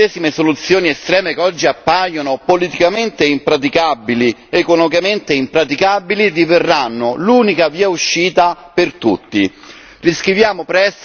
Molto presto, le medesime soluzioni estreme che oggi appaiono politicamente impraticabili, economicamente impraticabili, diverranno l'unica via d'uscita per tutti.